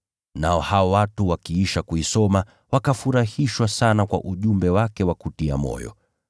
Nao hao watu wakiisha kuisoma, wakafurahishwa sana kwa ujumbe wake wa kutia moyo.